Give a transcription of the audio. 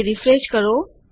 તે રીફ્રેશ કરો